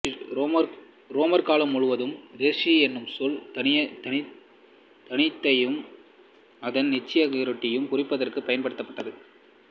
உரோமர் காலம் முழுவதிலும் சேரீசு என்னும் சொல் தானியத்தையும் அதன் நீட்சியாக ரொட்டியையும் குறிப்பதற்குப் பயன்பட்டது